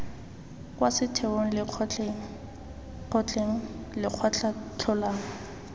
kwa setheong lekgotleng kgotleng lekgotlakatlholong